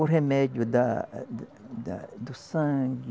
O remédio da, eh, da, do sangue.